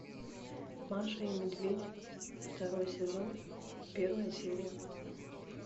маша и медведь второй сезон первая серия